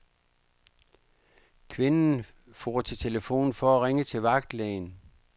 Kvinden for til telefonen for at ringe til vagtlægen.